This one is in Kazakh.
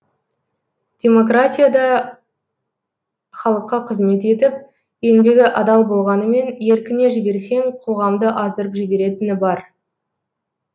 демократия да халыққа қызмет етіп еңбегі адал болғанымен еркіне жіберсең қоғамды аздырып жіберетіні бар